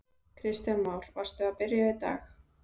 Kristján Már: Varstu að byrja í dag?